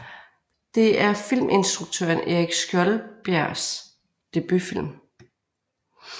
Det er filminstruktøren Erik Skjoldbjærgs debutfilm